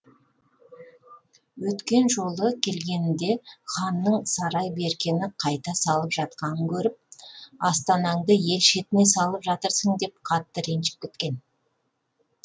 өткен жолы келгенінде ханның сарай беркені қайта салып жатқанын көріп астанаңды ел шетіне салып жатырсың деп қатты ренжіп кеткен